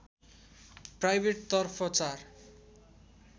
private तर्फ ४